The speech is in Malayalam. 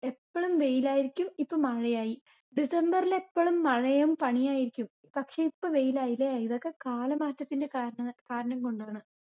എപ്പോളും വെയിലായിരിക്കും, ഇപ്പൊ മഴയായി. ഡിസംബെരില് എപ്പോളും മഴയും പനിയായിരിക്കും. പക്ഷെ ഇപ്പൊ വെയിലയിലെ? ഇതൊക്കെ കാലമാറ്റത്തിന്റെ കാരണകാരണംകൊണ്ടാണ്.